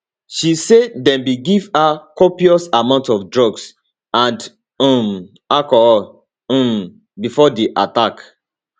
she say dem bin give her copious amounts of drugs and um alcohol um before di attack